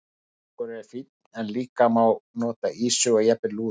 Þorskur er fínn en líka má nota ýsu og jafnvel lúðu.